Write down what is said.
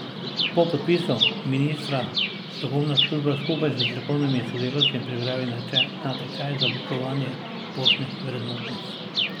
Po podpisu ministra strokovna služba skupaj s strokovnimi sodelavci pripravi natečaj za oblikovanje poštnih vrednotnic.